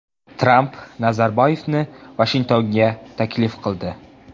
Tramp Nazarboyevni Vashingtonga taklif qildi.